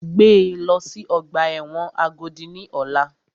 Gbé lọ sí ọgbà ẹ̀wọ̀n Agodi ní ọ̀la!